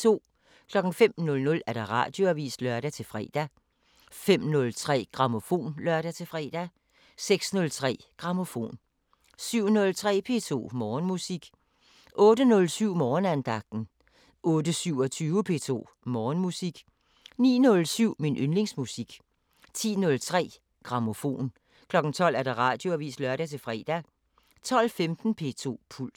05:00: Radioavisen (lør-fre) 05:03: Grammofon (lør-fre) 06:03: Grammofon 07:03: P2 Morgenmusik 08:07: Morgenandagten 08:27: P2 Morgenmusik 09:07: Min yndlingsmusik 10:03: Grammofon 12:00: Radioavisen (lør-fre) 12:15: P2 Puls